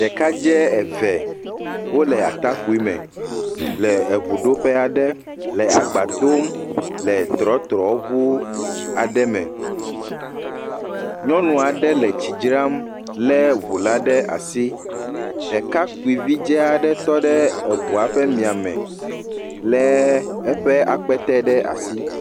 Ɖekadze eve eve wole atakpui me le eŋuɖoƒe aɖe le agba dom le trotroɔu aɖe me, nyɔnu aɖe le tsi dzram lé ŋu la ɖe asi, ɖekakpuivi ɖe tɔ ɖe eŋua ƒe mia me lé eƒe akpete ɖe asi.